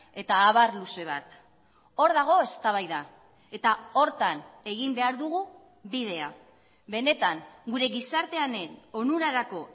eta abar luze bat hor dago eztabaida eta horretan egin behar dugu bidea benetan gure gizartearen onurarako